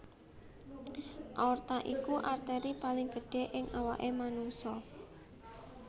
Aorta iku arteri paling gedhé ing awaké manungsa